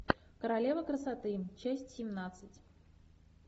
королева красоты часть семнадцать